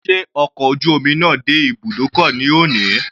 Sé ọkọ̀ ojú omi náà dé ibùdókọ̀ ní òní?